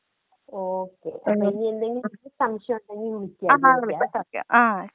okay അപ്പൊ ഇനി എന്തെങ്കിലും സംശയം ഉണ്ടെങ്കി വിളിക്കാ